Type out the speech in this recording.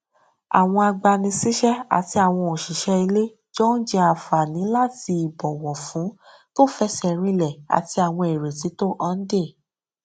àwọn agbanisíṣẹ àti àwọn òṣìṣẹ ilé jọ n jẹ ànfààní láti ìbọwọfún tó fẹsẹ rinlẹ àti àwọn ìrètí tó hànde